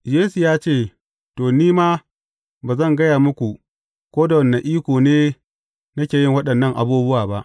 Yesu ya ce, To, ni ma ba zan gaya muku, ko da wane iko ne, nake yin waɗannan abubuwa ba.